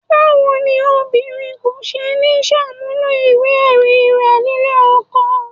Báwo ni obìnrin kò ṣe ní ṣàmúlò ìwé-ẹ̀rí rẹ̀ nílé ọkọ?